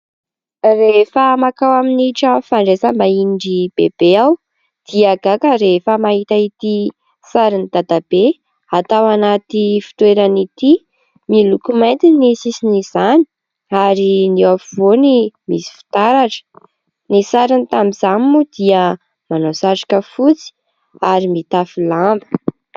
Rehefa mankao amin'ny trano fandraisam-bahinin'iry Bebe aho dia gaga rehefa mahita ity sarin'i Dadabe atao anaty fitoerana ity. Miloko mainty ny sisin'izany ary ny eo afovoany misy fitaratra. Ny sariny tamin'izany moa dia manao satroka fotsy ary mitafy lamba.